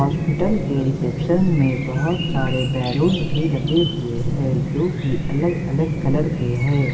Hospital के reception में बहुत सारे बलूंस भी लगे हुए हैं जो कि अलग-अलग कलर के है।